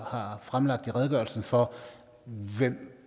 har fremlagt i redegørelsen for hvem